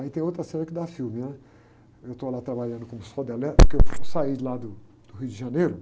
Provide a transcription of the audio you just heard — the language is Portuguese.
Aí tem outra cena que dá filme, né? Eu estou lá trabalhando com solda elétrica, eu saí lá do, do Rio de Janeiro,